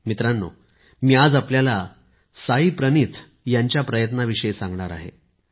मित्रांनो मी आज आपल्याला साईप्रनीथ यांच्या प्रयत्नाविषयी सांगणार आहे